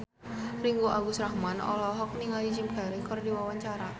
Ringgo Agus Rahman olohok ningali Jim Carey keur diwawancara